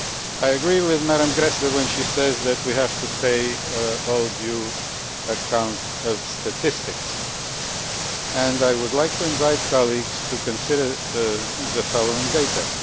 I agree with Madam Gräßle when she says that we have to pay all due account of statistics and I would like to invite colleagues to consider the following data.